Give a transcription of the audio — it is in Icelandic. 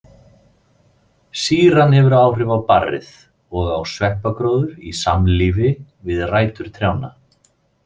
Sýran hefur áhrif á barrið og á sveppagróður í samlífi við rætur trjánna.